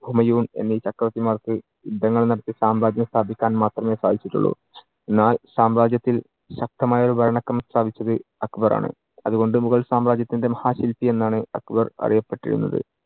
ഹുമയൂൺ എന്നീ ചക്രവർത്തിമാർക്ക് യുദ്ധങ്ങൾ നടത്തി സാമ്രാജ്യം സ്ഥാപിക്കാൻ മാത്രമേ സാധിച്ചിട്ടുള്ളു. എന്നാൽ സാമ്രാജ്യത്തിൽ ശക്തമായ ഒരു ഭരണക്രമം സ്ഥാപിച്ചത് അക്ബർ ആണ്. അതുകൊണ്ട് മുഗൾ സാമ്രാജ്യത്തിന്‍റെ മഹാ ശില്പി എന്നാണ് അക്ബർ അറിയപ്പെട്ടിരുന്നത്.